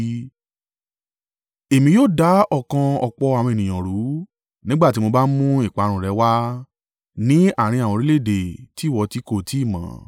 Èmi yóò da ọkàn ọ̀pọ̀ àwọn ènìyàn rú nígbà tí mo bá mú ìparun rẹ wá ní àárín àwọn orílẹ̀-èdè tí ìwọ kò í tí ì mọ̀.